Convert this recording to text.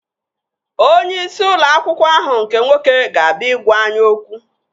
Onye isi ụlọ akwụkwọ ahụ nke nwoke ga-abịa ị gwaa anyị okwu